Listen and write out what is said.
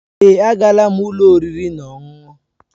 Èé, agaala m ụlọ oriri na ọṅụṅụ.